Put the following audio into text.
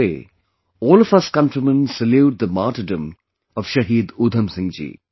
today, all of us countrymen salute the martyrdom of Shaheed Udham Singh ji